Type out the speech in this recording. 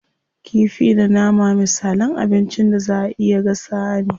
Kifi da nama misalan abincin da zaa a iya gasawa ne.